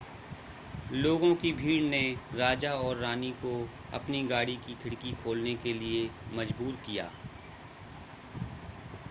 लोगों की भीड़ ने राजा और रानी को अपनी गाड़ी की खिड़की खोलने के लिए मजबूर किया